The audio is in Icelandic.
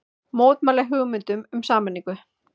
Mótmæla hugmyndum um sameiningu